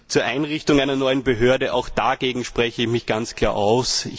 Zur Einrichtung einer neuen Behörde Auch dagegen spreche ich mich ganz klar aus.